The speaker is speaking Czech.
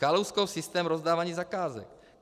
Kalouskův systém rozdávání zakázek.